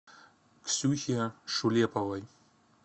ксюхе шулеповой